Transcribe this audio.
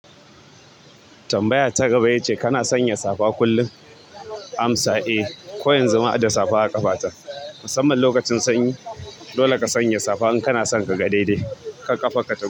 Tambaya ta gaba ya ce kana sanya safa kullun? Amsa eh, koyanzu ma hadda safa a ƙafata musamman lokacin sanyi. Dole ka sanya safa in kana san ka ga daidai kar ƙafa ka ta,